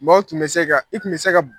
Mɔɔw tun bɛ se ka i tun bɛ se ka b